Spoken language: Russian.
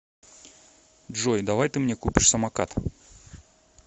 джой давай ты мне купишь самокат